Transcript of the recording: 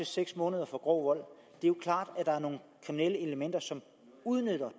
seks måneder for grov vold det er klart at der er nogle kriminelle elementer som udnytter